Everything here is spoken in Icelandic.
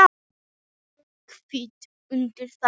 Ég kvitta undir það.